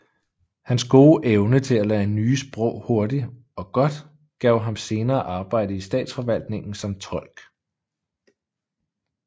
Hans gode evne til at lære nye sprog hurtigt og godt gav ham senere arbejde i statsforvaltningen som tolk